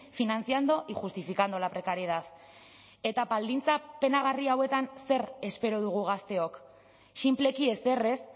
financiando y justificando la precariedad eta baldintza penagarri hauetan zer espero dugu gazteok sinpleki ezer ez